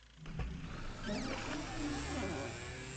золотой ключик